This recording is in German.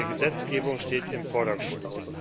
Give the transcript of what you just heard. Gesetzgebung steht im Vordergrund!